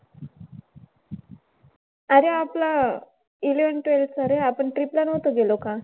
अरे आपला eleven, twelve चा रे आपण trip ला नव्हतो गेलो का?